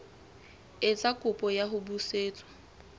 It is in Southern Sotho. etsa kopo ya ho busetswa